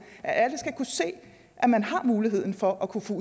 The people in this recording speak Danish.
at alle skal kunne se at man har muligheden for at kunne få